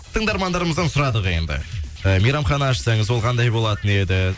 тыңдармандарымыздан сұрадық енді ы мейрамхана ашсаңыз ол қандай болатын еді